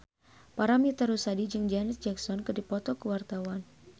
Paramitha Rusady jeung Janet Jackson keur dipoto ku wartawan